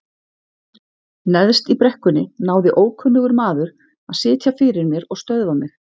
Neðst í brekkunni náði ókunnugur maður að sitja fyrir mér og stöðva mig.